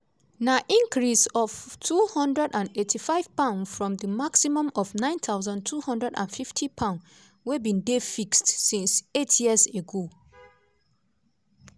na increase of £285 from di maximum of £9250 wey bin dey fixed since eight years ago.